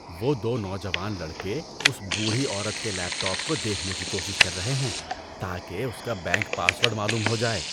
وہ دو نوجوان لڑکے اس بوڑھی عورت کے لیپ ٹاپ کو دیکھنے کی کوشش کر رہے ہیں تاکہ اس کا بینک پاس ورڈ معلوم ہو جائے۔